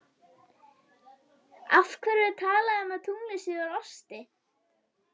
Af hverju er talað um að tunglið sé úr osti?